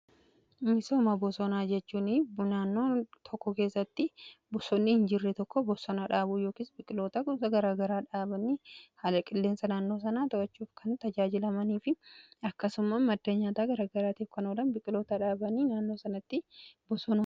Misooma bosonaa jechuun naannoo tokko keessatti bosonni hin jirre tokko bosona dhaabuu yookiis biqiloota kuusaa garaa garaa dhaabanii haala qilleensa naannoo sanaa to'achuuf kan tajaajilamanii fi akkasumas madda nyaataa garaa garaatiif kan oolan biqiloota dhaabanii naannoo sanatti bosona dhaabuudha.